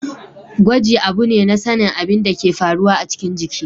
Gwaji abu ne na sanin abin da ke faruwa a cikin jiki.